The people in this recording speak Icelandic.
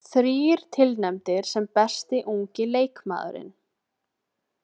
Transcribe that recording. Þrír tilnefndir sem besti ungi leikmaðurinn